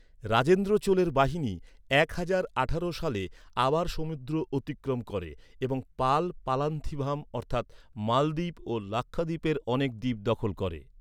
রাজেন্দ্র চোলের বাহিনী এক হাজার আঠারো সালে আবার সমুদ্র অতিক্রম করে এবং পাল পালান্থিভাম অর্থাৎ মালদ্বীপ ও লাক্ষাদ্বীপের অনেক দ্বীপ দখল করে।